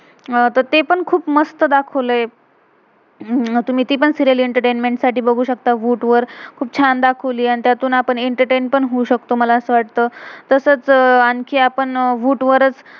ते पण खुप मस्त दाखवलय. तुम्ही ती पण सीरियल serial एंटरटेनमेंट entertainment साठी बघू शकता वू voot वर. खुप छान दाखाव्लियेआणि त्यातून आपण एंटरटेन entertain पण होऊ शकतो, मला असं वाटतं. तसच अह आणखी आपण वूट voot वर